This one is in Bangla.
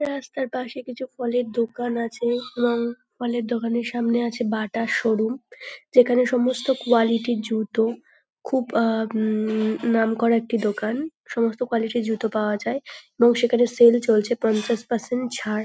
রাস্তার পাশে কিছু ফলের দোকান আছে এবং ফলের দোকানের সামনে আছে বাটার শো রুম যেখানে সমস্ত কোয়ালিটির জুতো খুব আহ উম নাম করা একটি দোকান সমস্ত কোয়ালিটির জুতো পাওয়া যায় এবং সেখানে সেল চলছে পঞ্চাশ পার্সেন্ট ছাড়।